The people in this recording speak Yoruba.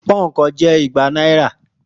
Púnǹkan je igba náírà